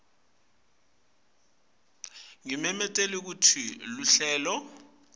ngimemetele kutsi luhlelo